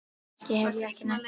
Kannski hef ég ekki nennt því.